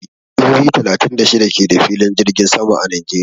Jihohi talatin da shida ke da filin jirgin sama a Najeriya.